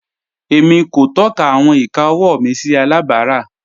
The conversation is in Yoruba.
Émi kò tọ̀kà àwọn ìkà ọ̀wọ́ mi sí àlàbárà.